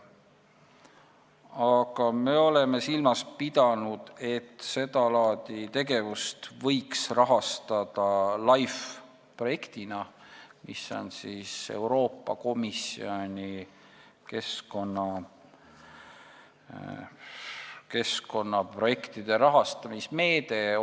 Aga me oleme silmas pidanud, et seda laadi tegevust võiks rahastada LIFE projektina, mis on Euroopa Komisjoni keskkonnaprojektide rahastamise meede.